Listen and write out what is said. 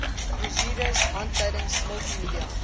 brosjures handleidings multimedia